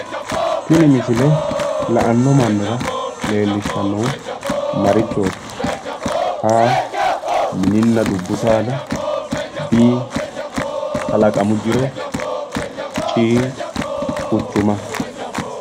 Tini misile la'anno mannira leellishannohu marichooti A mininna dubbu saada B kalaqamu jiro C quchuma